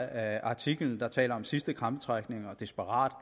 af artiklen der taler om sidste krampetrækninger og desperate